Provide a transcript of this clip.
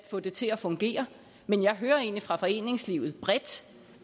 få det til at fungere men jeg hører egentlig fra foreningslivet